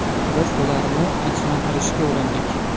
Biz ularni tinchlantirishga urindik.